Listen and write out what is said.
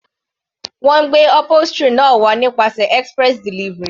Wọ́n gbé upholstery náà wá nípasẹ̀ express delivery.